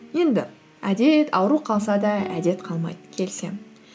енді әдет ауру қалса да әдет қалмайды келісемін